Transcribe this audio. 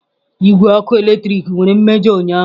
Igwe ọkụ eletrik nwere mmejọ ụnyaahụ.